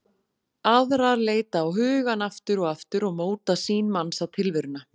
Aðrar leita á hugann aftur og aftur og móta sýn manns á tilveruna.